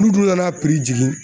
N'u dun nan'a piri jigin